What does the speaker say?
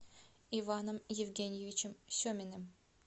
иваном евгеньевичем семиным